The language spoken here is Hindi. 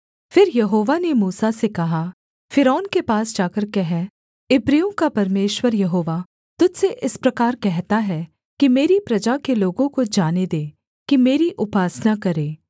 फिर यहोवा ने मूसा से कहा फ़िरौन के पास जाकर कह इब्रियों का परमेश्वर यहोवा तुझ से इस प्रकार कहता है कि मेरी प्रजा के लोगों को जाने दे कि मेरी उपासना करें